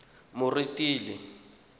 moretele